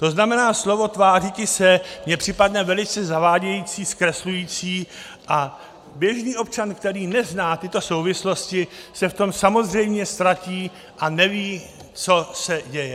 To znamená, slovo tvářiti se mi připadne velice zavádějící, zkreslující a běžný občan, který nezná tyto souvislosti, se v tom samozřejmě ztratí a neví, co se děje.